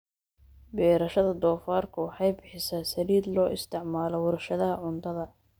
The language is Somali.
Beerashada doofaarku waxay bixisaa saliid loo isticmaalo warshadaha cuntada.